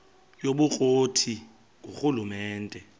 yobukro ti ngurhulumente